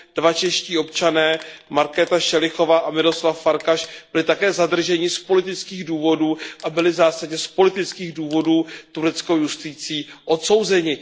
Dva čeští občané, Markéta Všelichová a Miroslav Farkas, byli také zadrženi z politických důvodů a byli v zásadě z politických důvodů tureckou justicí odsouzeni.